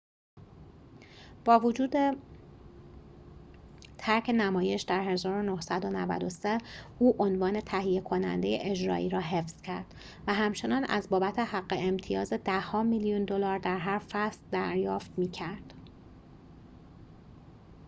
با وجود ترک نمایش در ۱۹۹۳ او عنوان تهیه کننده اجرایی را حفظ کرد و همچنان از بابت حق امتیاز ده‌ها میلیون دلار در هر فصل دریافت می‌کرد